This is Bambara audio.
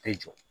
Bɛɛ jɔ